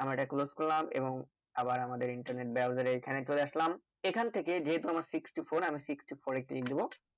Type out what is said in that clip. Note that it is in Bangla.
আমার এটা closed করলাম এবং আবার আমাদের internet browser এইখানে চলে আসলাম এইখান থেকে যেহুতু আমার sixty four আমি sixty four এ click দিবো